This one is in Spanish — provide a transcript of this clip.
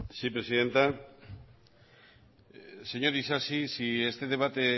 sí presidenta señor isasi si este debate